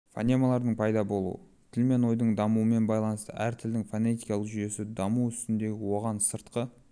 фонемалардың пайда болуы тіл мен ойдың дамуымен байланысты әр тілдің фонетикалық жүйесі даму үстінде оған сыртқы